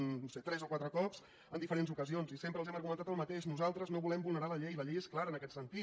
no ho sé tres o quatre cops en diferents ocasions i sempre els hem argumentat el mateix nosaltres no volem vulnerar la llei la llei és clara en aquest sentit